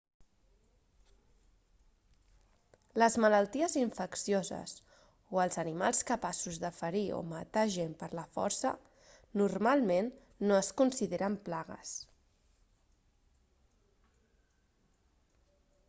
les malalties infeccioses o els animals capaços de ferir o matar gent per la força normalment no es consideren plagues